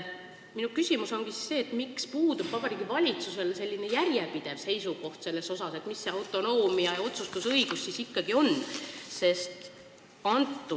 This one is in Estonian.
Minu küsimus ongi see: miks puudub Vabariigi Valitsusel järjepidev seisukoht, mis see autonoomia ja otsustusõigus siis ikkagi on?